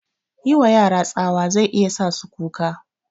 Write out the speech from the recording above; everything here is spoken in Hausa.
Yiwa yara tsawa zai iya sa su kuka